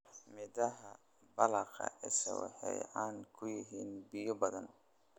Midhaha baqala isha waxay caan ku yihiin biyo badan.